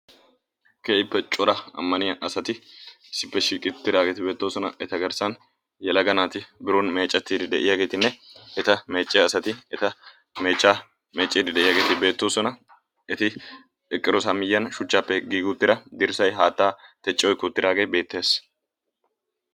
Keehippe cora ammaniya asati issippe uttageeti bettoosona. eta meecciya asti eta meechcha meecciyaageeti beettoosona. eti eqqidoosona shuchchappe haattay giigi uttaage beettees.